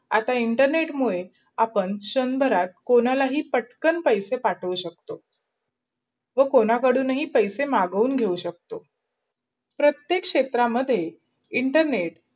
आता internet मूढे आपण शंभरात कोणालाही पटकन पैशे पाठवू शकतो. व कोणाही कडून पैशे मागवू शकतो. प्रताएक् क्षेत्र मध्ये इंटरनेट